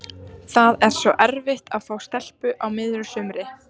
Það er svo erfitt að fá stelpu á miðju sumri.